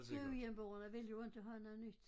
Gudhjemborgerne ville jo inte have noget nyt